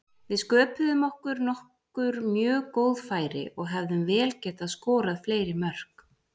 Við sköpuðum okkur nokkur mjög góð færi og hefðum vel getað skorað fleiri mörk.